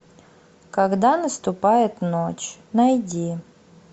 когда наступает ночь найди